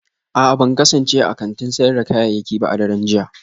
A'a ban kasance a kantin sayar da kayayyaki ba a daren jiya